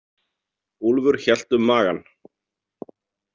Úlfur hélt um magann.